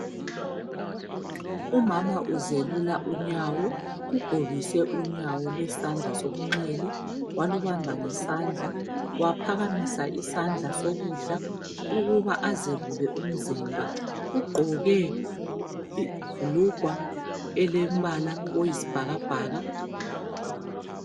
Umama uzelula unyawo ugobise unyawo lwesandla sokunxele walubamba ngesandla waphakamisa isandla sokudla ukuba azelule umzimba ugqoke ibhulugwe elombala oyisibhakabhaka.